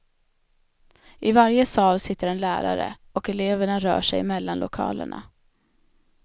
I varje sal sitter en lärare, och eleverna rör sig mellan lokalerna.